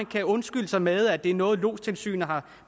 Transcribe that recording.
kan undskylde sig med at det er noget lodstilsynet har